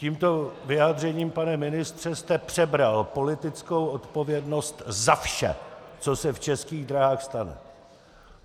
Tímto vyjádřením, pane ministře, jste přebral politickou odpovědnost za vše, co se v Českých dráhách stane.